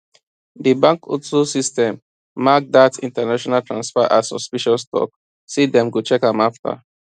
di bank auto system mark dat international transfer as suspicious talk say dem go check am afta